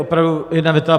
Opravdu jedna věta.